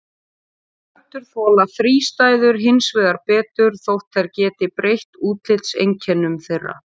Plöntur þola þrístæður hins vegar betur þótt þær geti breytt útlitseinkennum þeirra.